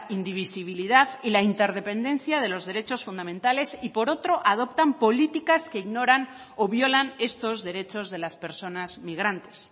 indivisibilidad y la interdependencia de los derechos fundamentales y por otro adoptan políticas que ignoran o violan estos derechos de las personas migrantes